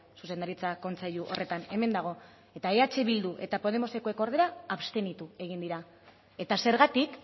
zuzendaritza kontseilu horretan hemen dago eta eh bildu eta podemosekoek ordea abstenitu egin dira eta zergatik